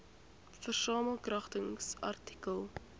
versamel kragtens artikel